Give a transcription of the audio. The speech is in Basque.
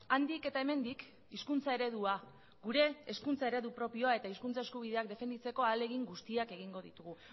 handik eta hemendik hizkuntza eredua gure hezkuntza eredu propioa eta hizkuntza eskubideak defenditzeko ahalegin guztiak egingo ditugu